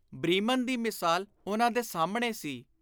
Bremen ਦੀ ਮਿਸਾਲ ਉਨ੍ਹਾਂ ਦੇ ਸਾਹਮਣੇ ਸੀ।